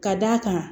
Ka d'a kan